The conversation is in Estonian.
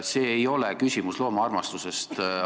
See ei ole ainult küsimus loomaarmastusest.